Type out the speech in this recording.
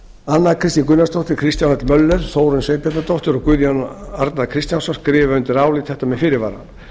anna kristín gunnarsdóttir kristján l möller þórunn sveinbjarnardóttir og guðjón a kristjánsson skrifa undir álit þetta með fyrirvara